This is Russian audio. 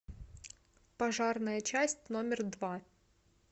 пожарная часть номер два